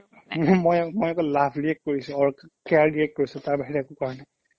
মই অ মই অকল love react কৰিছো or ক care react কৰিছো তাৰ বাহিৰে একো কৰা নাই